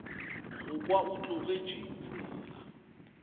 go kwa o tlogetše tsela